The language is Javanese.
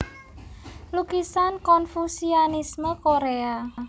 Lukisan Konfusianisme Korea